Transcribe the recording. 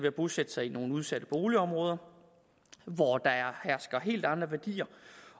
at bosætte sig i nogle udsatte boligområder hvor der hersker helt andre værdier